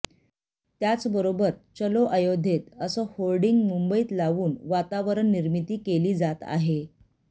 त्याचबरोबर चलो अयोध्येत असं होर्डिंग मुंबईत लावून वातावरण निर्मिती केली जात आहे